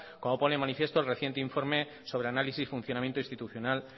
como pone de manifiesto el reciente informe sobre análisis funcionamiento institucional